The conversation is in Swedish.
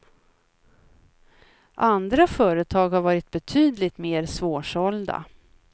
Andra företag har varit betydligt mer svårsålda.